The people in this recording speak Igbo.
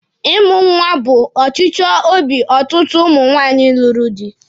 Ịmụ nwa bụ ọchịchọ obi ọtụtụ ụmụ nwaanyị lụrụ di.